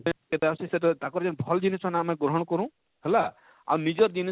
ସେଟା ସେଟା ହଉଛେ ତାକର ଯେନ ଭଲ ଜିନିଷ ମାନେ ଆମେ ଗ୍ରହଣ କରୁ ହେଲା ଆଉ ନିଜର ଜିନିଷ